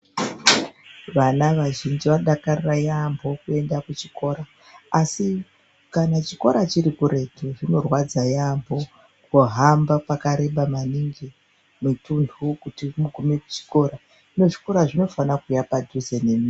Vana vazhinji vanodakarira yambo kuenda kuchikora asi kana chikora chiri kuretu zvinorwadza yambo kuhamba pakareba maningi mitunhu kuti mugume kuchikora .Hino zvikora zvinofana kuuya padhuze nemi.